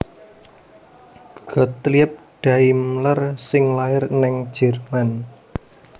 Gottlieb Daimler sing lair ning Jerman